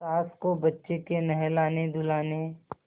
सास को बच्चे के नहलानेधुलाने